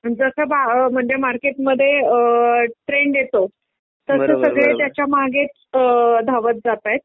जसा म्हणजे मार्केटमध्ये ट्रेंड येतो तस सगळे त्याच्या मागेच अअ धावत जातायेत.